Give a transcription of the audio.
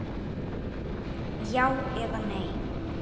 Já eða nei?